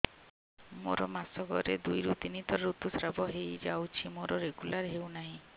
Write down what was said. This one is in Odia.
ମୋର ମାସ କ ରେ ଦୁଇ ରୁ ତିନି ଥର ଋତୁଶ୍ରାବ ହେଇଯାଉଛି ମୋର ରେଗୁଲାର ହେଉନାହିଁ